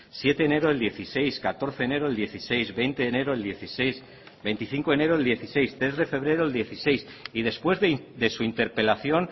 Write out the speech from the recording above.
siete de enero del dieciséis catorce de enero del dieciséis veinte de enero del dieciséis veinticinco de enero del dieciséis tres de febrero del dieciséis y después de su interpelación